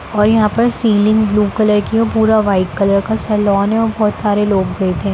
और यहाँ पर सीलिंग ब्लू कलर की है और पूरा वाइट कलर का सैलून है और बहुत सारे लोग बेठे --